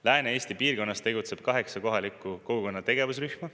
Lääne-Eesti piirkonnas tegutseb kaheksa kohaliku kogukonna tegevusrühma.